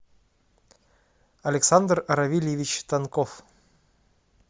александр равильевич тонков